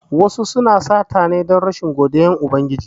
Wasu suna sata ne don rashin godiyan Ubangiji